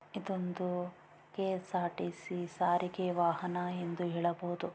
ಇದೊಂದು ಕೆ_ಎಸ್_ಆರ್_ಟಿ_ಸಿ ಸಾರಿಗೆ ವಾಹನಾ ಎಂದು ಹೇಳಬಹುದು.